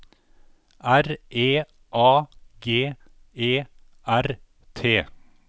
R E A G E R T